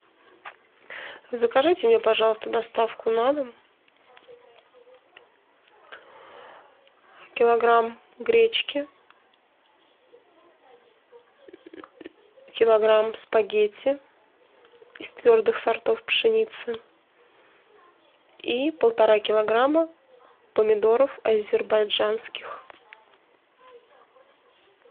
закажите мне пожалуйста доставку на дом килограмм гречки килограмм спагетти из твердых сортов пшеницы и полтора килограмма помидоров азербайджанских